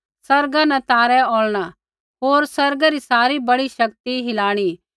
आसमाना न तारै औल़ना होर आसमानै री सारी बड़ी शक्ति हिलाइणी